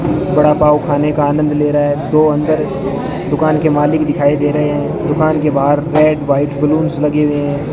वड़ा पाव खाने का आनंद ले रहा है दो अंदर दुकान के मालिक दिखाई दे रहे हैं दुकान के बाहर रेड व्हाइट बलूंस लगे हुए हैं।